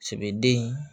Sɛbɛden